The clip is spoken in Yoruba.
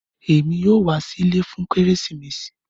Ẹmi yòó wà sí ilẹ̀ fún Keresimesi